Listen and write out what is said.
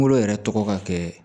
Kungolo yɛrɛ tɔgɔ ka kɛ